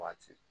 Waati